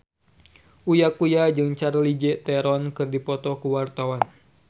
Uya Kuya jeung Charlize Theron keur dipoto ku wartawan